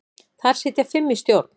Þar sitja fimm í stjórn.